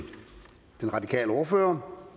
om